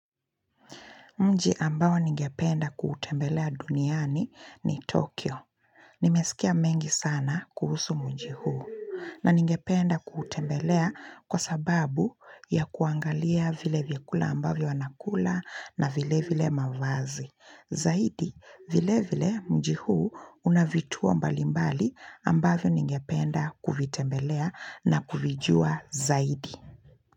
Mji ambao ningependa kuutembelea duniani ni Tokyo. Nimesikia mengi sana kuhusu mji huu. Na ningependa kuutembelea kwa sababu ya kuangalia vile vyakula ambavyo wanakula na vile vile mavazi. Zaidi, vile vile mji huu unavituo mbalimbali ambavyo ningependa kuvitembelea na kuvijua zaidi.